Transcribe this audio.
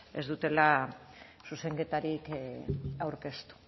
ez dute zuzenketarik aurkeztu